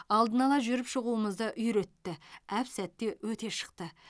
алдын ала жүріп шығуымызды үйретті әп сәтте өте шықты